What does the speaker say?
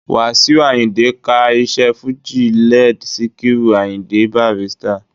Wàsíù Àyìndé ka iṣẹ́ fújì led Síkírù Àyìndé Bàrístà